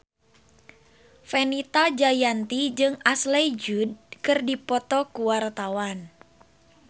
Fenita Jayanti jeung Ashley Judd keur dipoto ku wartawan